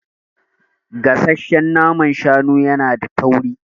Gasassan naman shanu yana da tauri.